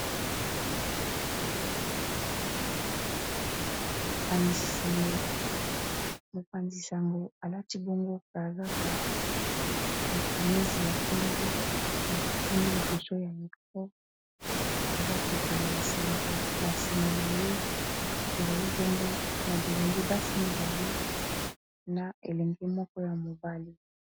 mopanzisango alati bongo pe kazaka na phenisi ya pembe artikimi liboso ya micrapor aza kopanza nsango na nsima na ye ezali bongo na bilenge basi mibale na elenge moko ya mobale